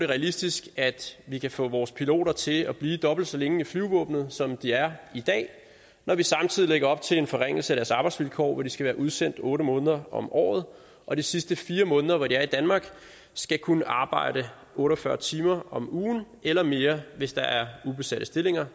realistisk at vi kan få vores piloter til at blive dobbelt så længe i flyvevåbenet som de er i dag når vi samtidig lægger op til en forringelse af deres arbejdsvilkår hvor de skal være udsendt otte måneder om året og de sidste fire måneder hvor de er i danmark skal kunne arbejde otte og fyrre timer om ugen eller mere hvis der er ubesatte stillinger